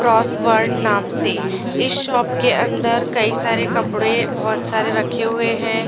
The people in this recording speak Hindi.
क्रॉसवर्ड नाम से इस शॉप के अन्दर कई सारे कपड़े बहुत सारे रखे हुए हैं।